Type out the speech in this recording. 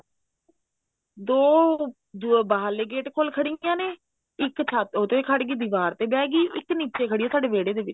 ਦੋ ਜੋ ਬਾਹਰਲੇ ਗੇਟ ਕੋਲ ਖੜੀਆਂ ਨੇ ਇੱਕ ਛੱਤ ਉਹ ਤੇ ਖੜਗੀ ਦੀਵਾਰ ਤੇ ਬਹਿਗੀ ਇੱਕ ਨੀਚੇ ਖੜੀ ਸੀ ਸਾਡੇ ਵਿਹੜੇ ਦੇ ਵਿੱਚ